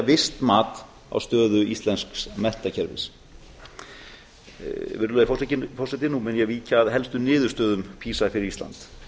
visst mat á stöðu íslensks menntakerfis virðulegi forseti nú mun ég víkja að helstu niðurstöðum pisa fyrir ísland